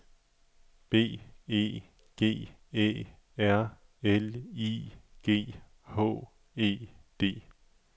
B E G Æ R L I G H E D